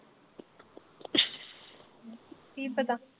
ਕੀ ਪਤਾ?